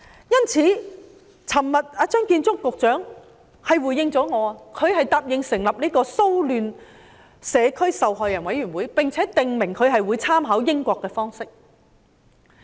昨天，張建宗局長回應我，他答應成立騷亂、社區及受害者委員會，並且訂明會參考英國的方式。